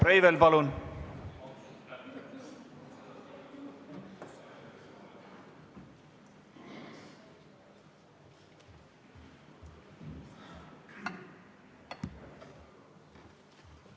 Riho Breivel, palun!